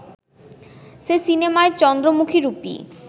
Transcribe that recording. সে সিনেমায় চন্দ্রমুখীরূপী